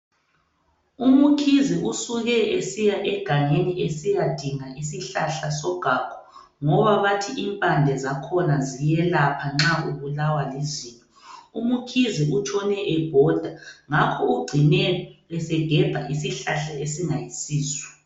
UMkhize usuke esiya egangeni esiyadinga isihlahla sogagu, ngoba bathi impande zakhona ziyelapha nxa ubulawa lizinyo. UMkhize utshone ebhoda, ngakho ugcine esegebha isihlahla esingayisiso.